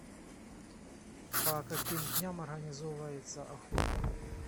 по каким дням организовывается охота